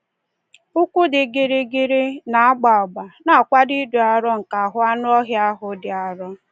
Ụkwụ dị gịrịgịrị, na-agba agba, na-akwado ịdị arọ nke ahụ anụ ọhịa ahụ dị arọ.